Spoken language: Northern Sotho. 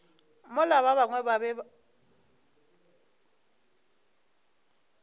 mola ba bangwe ba be